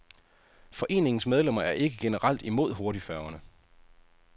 Foreningens medlemmer er ikke generelt imod hurtigfærgerne.